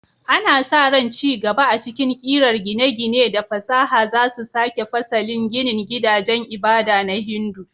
Ana sa ran ci gaba a cikin ƙirar gine-gine da fasaha za su sake fasalin ginin gidajen ibada na Hindu.